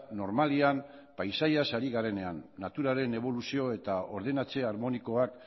normalean paisaiaz ari garenean naturaren eboluzio eta ordenatze harmonikoak